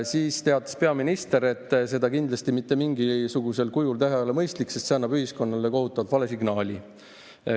Siis teatas peaminister, et seda kindlasti mitte mingisugusel kujul teha ei ole mõistlik, sest see annab ühiskonnale kohutavalt vale signaali.